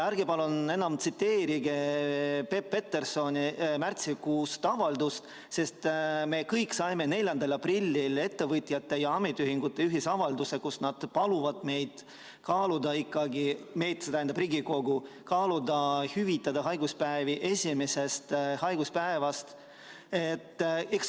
Ärge palun enam tsiteerige Peep Petersoni märtsikuist avaldust, sest me kõik saime 4. aprillil ettevõtjate ja ametiühingute ühisavalduse, milles nad paluvad meid, st Riigikogu, kaaluda ikkagi võimalust hüvitada haiguspäevad esimesest haiguspäevast alates.